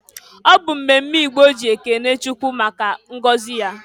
Ọbụ mmemme Igbo ji ekene Chukwu maka ngozi ya.